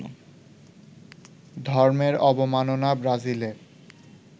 ধর্মের অবমাননা ব্রাজিলে